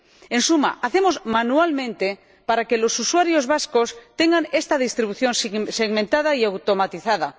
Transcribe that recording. En suma, lo hacemos manualmente para que los usuarios vascos tengan esta distribución segmentada y automatizada.